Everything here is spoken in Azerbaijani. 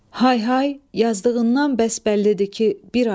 Hay hay, yazdığından bəs bəllidir ki, bir ay.